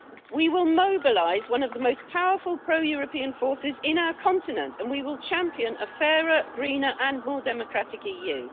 We will mobilise one of the most powerful pro European forces in our continent and we will champion a fairer, greener, and more democratic EU.